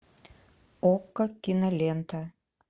окко кинолента